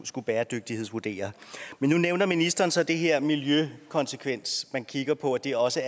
skulle bæredygtighedsvurdere men nu nævner ministeren så det her med miljøkonsekvens at man kigger på at det også